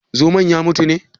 Zomon ya mutu ne?